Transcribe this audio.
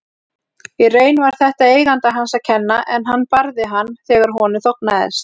Í raun var þetta eiganda hans að kenna en hann barði hann þegar honum þóknaðist.